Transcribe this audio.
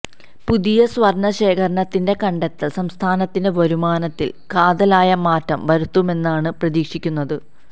പുതിയ സ്വര്ണശേഖരത്തിന്റെ കണ്ടെത്തല് സംസ്ഥാനത്തിന്റെ വരുമാനത്തില് കാതലായ മാറ്റം വരുത്തുമെന്നാണ് പ്രതീക്ഷിക്കുന്നത്